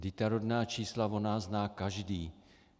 Vždyť ta rodná čísla o nás zná každý.